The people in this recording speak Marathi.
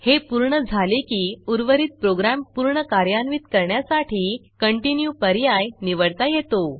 हे पूर्ण झाले की उर्वरित प्रोग्रॅम पूर्ण कार्यान्वित करण्यासाठी Continueकंटिन्यू पर्याय निवडता येतो